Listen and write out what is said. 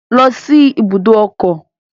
Go to the motor park